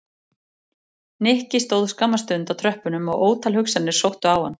Nikki stóð skamma stund á tröppunum og ótal hugsanir sóttu á hann.